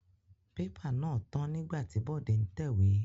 Pépà tán nígbà tí Bọ̀dé ń tẹ̀wé.